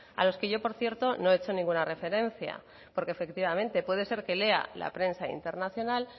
a los que yo por cierto no he hecho ninguna referencia porque efectivamente puede ser que lea la prensa internacional